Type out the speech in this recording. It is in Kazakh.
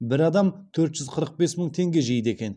бір адам төрт жүз қырық бес мың теңге жейді екен